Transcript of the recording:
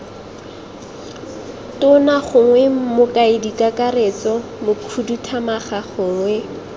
tona gongwe mokaedikakaretso mokhuduthamaga gongwe